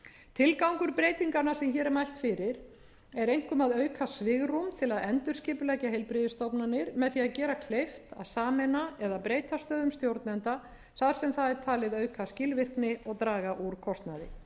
tilgangur breytinganna sem hér er mælt fyrir er einkum að auka svigrúm til að endurskipuleggja heilbrigðisstofnanir með því að gera kleift að sameina eða breyta stöðum stjórnenda þar sem það er talið auka skilvirkni og draga úr kostnaði